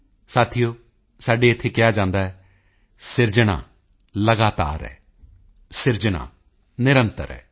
ਸਾਥੀਓ ਸਾਡੇ ਇੱਥੇ ਕਿਹਾ ਜਾਂਦਾ ਹੈ ਸਿਰਜਣਾ ਲਗਾਤਾਰ ਹੈ ਸਿਰਜਣਾ ਨਿਰੰਤਰ ਹੈ